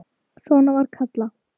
Svona var Kalla.